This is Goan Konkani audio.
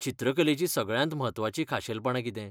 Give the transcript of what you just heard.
चित्रकलेचीं सगळ्यांत म्हत्वाचीं खाशेलपणां कितें?